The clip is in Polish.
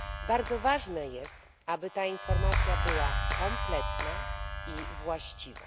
Bardzo ważne jest, aby ta informacja była kompletna i właściwa.